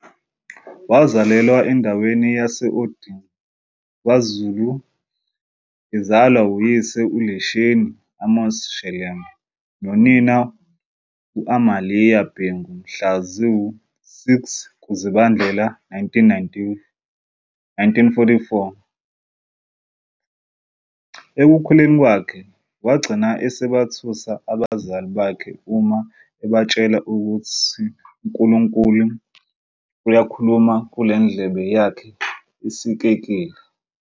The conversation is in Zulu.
Wazalelwa endaweni yasOndini, KwaZulu ezalwa uyise uLesheni Amos Shelembe nonina u-Amaliya Bhengu mhla zi-06 kuZibandlela 1944. Ekukhuleni kwakhe wagcina esebethusa abazali bakhe uma ebetshela ukuthi uNkulunkulu uyakhuluma kule ndlebe yakhe esikekile.